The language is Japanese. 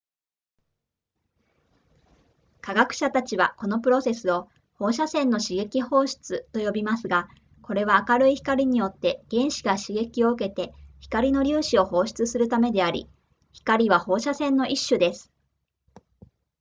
科学者たちはこのプロセスを放射線の刺激放出と呼びますがこれは明るい光によって原子が刺激を受けて光の粒子を放出するためであり光は放射線の一種です